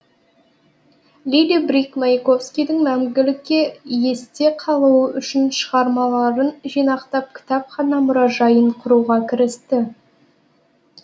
лили брик маяковскийдің мәңгілікке есте қалуы үшін шығармаларын жинақтап кітапхана мұражайын құруға кірісті